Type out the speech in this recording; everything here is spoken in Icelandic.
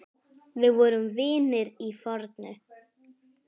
Við vorum vinir að fornu.